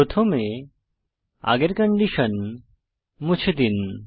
প্রথমে আগের কন্ডিশন মুছে দিন